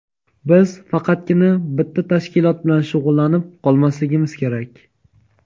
Biz faqatgina bitta tashkilot bilan shug‘ullanib qolmasligimiz kerak.